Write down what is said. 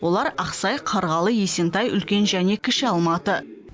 олар ақсай қарғалы есентай үлкен және кіші алматы